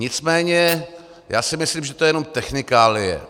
Nicméně já si myslím, že to je jenom technikálie.